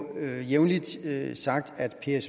at der